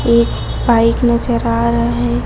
एक बाइक नजर आ रहा है।